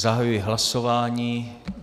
Zahajuji hlasování.